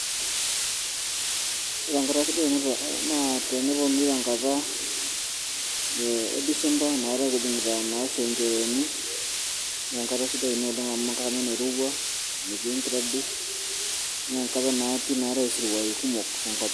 ore enkata sidai naa tenepuonuunui tenkata, ee disemba, inakata oshi kijing'ita enchereeni naa kisidai amu kirowua metiii enkijiape, naa keetae isiruai kumok te nkop.